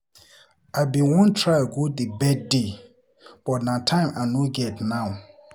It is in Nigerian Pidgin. I bin wan try go the birthday but na time I no get now.